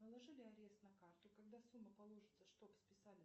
наложили арест на карту когда сумма положится чтобы списали